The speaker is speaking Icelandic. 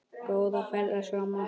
Góða ferð elsku amma.